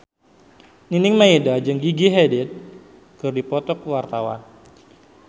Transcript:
Nining Meida jeung Gigi Hadid keur dipoto ku wartawan